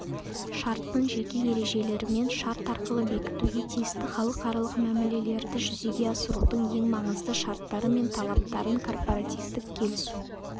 шарттың жеке ережелерімен шарт арқылы бекітуге тиісті халықаралық мәмілелерді жүзеге асырудың ең маңызды шарттары мен талаптарын корпоративтік келісу